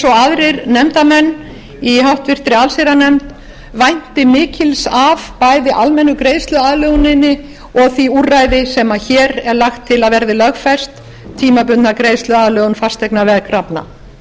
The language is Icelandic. aðrir nefndarmenn í háttvirta allsherjarnefnd vænti mikils af bæði almennu greiðsluaðlöguninni og því úrræði sem hér er lagt til að verði lögfest tímabundna greiðsluaðlögun fasteignaveðkrafna